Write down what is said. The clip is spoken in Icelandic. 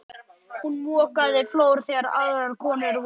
Hún mokaði flór þegar aðrar konur voru að prjóna.